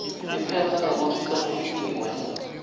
iphetse ngekutsi sekufikiwe